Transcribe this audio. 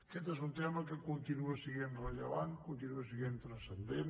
aquest és un tema que continua sent rellevant continua sent transcendent